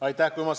Aitäh!